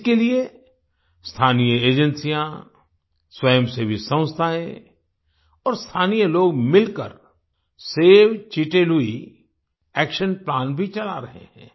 इसके लिए स्थानीय एजेंसियां स्वयंसेवी संस्थाएं और स्थानीय लोग मिलकर save Chite Lui action plan भी चला रहे हैं